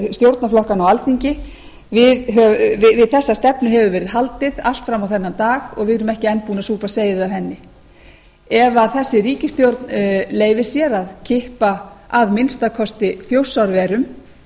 stjórnarflokkanna á alþingi við þessa stefnu hefur verið haldið allt fram á þennan dag og við erum ekki enn búin að súpa seyðið af henni ef þessi ríkisstjórn leyfir sér að kippa að minnsta kosti þjórsárverum